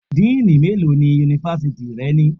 Díínì mélòó ni Yunifásítì rẹ ní?